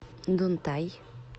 дунтай